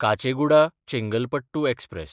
Kacheguda-Chengalpattu express